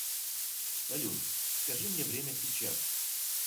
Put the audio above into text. салют скажи мне время сейчас